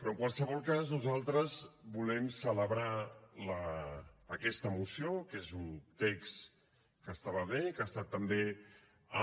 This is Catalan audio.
però en qualsevol cas nosaltres volem celebrar aquesta moció que és un text que estava bé que ha estat també